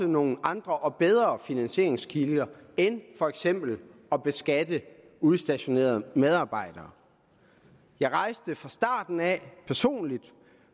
nogle andre og bedre finansieringskilder end for eksempel at beskatte udstationerede medarbejdere jeg rejste fra starten af